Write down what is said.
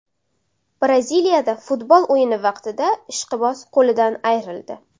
Braziliyada futbol o‘yini vaqtida ishqiboz qo‘lidan ayrildi.